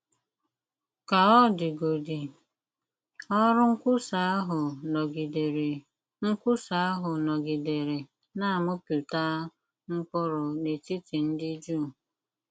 Ka ọ dịgodị, ọrụ nkwusa ahụ nọgidere nkwusa ahụ nọgidere na - amịpụta mkpụrụ n’etiti ndị Juu.